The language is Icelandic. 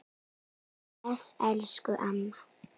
Bless elsku amma.